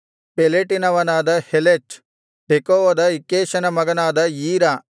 ಪೆಲೆಟಿನವನಾದ ಹೆಲೆಚ್ ತೆಕೋವದ ಇಕ್ಕೇಷನ ಮಗನಾದ ಈರಾ